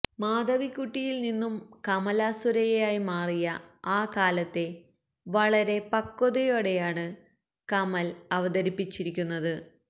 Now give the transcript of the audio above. മാധവിക്കുട്ടിയില് നിന്നും കമലാ സുരയ്യയായി മാറിയ ആ കാലത്തെ വളരെ പക്വതയോടെയാണ് കമല് അവതരിപ്പിച്ചിരിക്കുന്നത്